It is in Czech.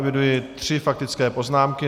Eviduji tři faktické poznámky.